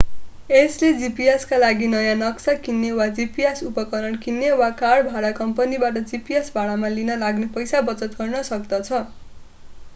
यसले gps का लागि नयाँ नक्सा किन्ने वा gps उपकरण किन्ने वा कार भाडा कम्पनीबाट gps भाडामा लिन लाग्ने पैसा बचत गर्न सक्दछ